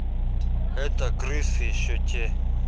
это крысы ещё те